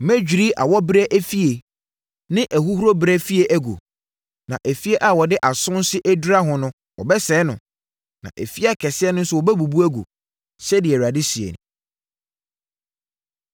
Mɛdwiri awɔberɛ efie ne ahuhuro berɛ efie agu; na afie a wɔde asonse adura ho no wɔbɛsɛe no na afie akɛseɛ no nso wɔbɛbubu agu,” sɛdeɛ Awurade seɛ nie.